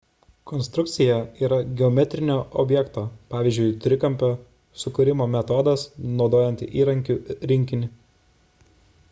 konstrukcija yra geometrinio objekto pavyzdžiui trikampio sukūrimo metodas naudojant įrankių rinkinį